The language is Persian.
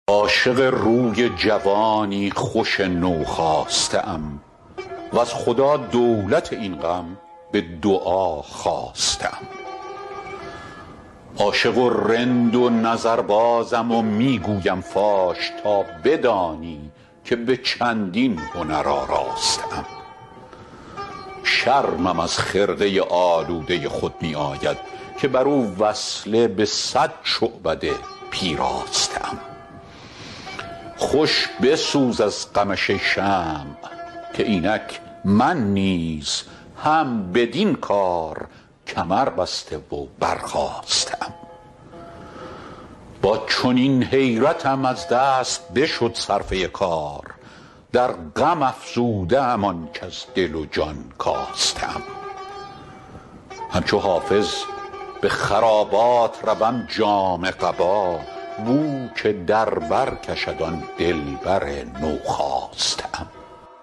عاشق روی جوانی خوش نوخاسته ام وز خدا دولت این غم به دعا خواسته ام عاشق و رند و نظربازم و می گویم فاش تا بدانی که به چندین هنر آراسته ام شرمم از خرقه آلوده خود می آید که بر او وصله به صد شعبده پیراسته ام خوش بسوز از غمش ای شمع که اینک من نیز هم بدین کار کمربسته و برخاسته ام با چنین حیرتم از دست بشد صرفه کار در غم افزوده ام آنچ از دل و جان کاسته ام همچو حافظ به خرابات روم جامه قبا بو که در بر کشد آن دلبر نوخاسته ام